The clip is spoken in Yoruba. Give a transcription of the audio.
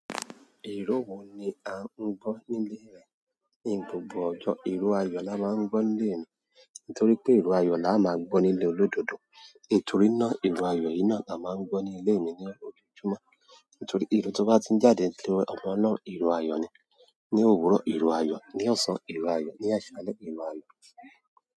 Ìró wo ni a ń gbọ́ nílé rẹ? Ní gbogbo ọjọ́, ìró ayọ̀ la máa ń gbọ́ nílé mi. Nítorí pé ìró ayọ̀ la máa gbọ́ nílé olódodo. Nítorí náà ìró ayọ̀ yìí náà la máa ń gbọ́ ni ílé mi ní ojojúmọ́. Nítorí ìró tó bá ti ń jáde tí ọmọ náà, ìró ayọ̀ ni. Ni òwúrọ̀ ìró ayọ̀, ní ọ̀sán ìró ayọ̀, ní àṣálẹ́ ìró ayọ̀.